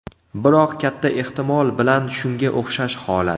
Biroq katta ehtimol bilan shunga o‘xshash holat.